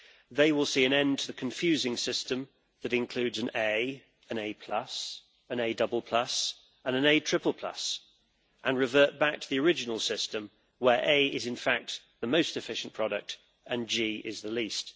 They will see an end to the confusing system that includes an A, an A, an A and an A and revert back to the original system, where A is, in fact, the most efficient product and G is the least.